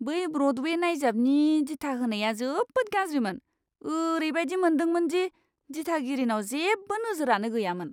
बै ब्र'डवे नायजाबनि दिथाहोनाया जोबोद गाज्रिमोन। ओरैबायदि मोनदोंमोन दि दिथागिरिनाव जेबो नोजोरानो गैयामोन!